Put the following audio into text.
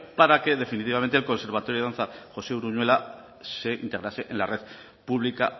para que definitivamente el conservatorio de danza josé uruñuela se integrase en la red pública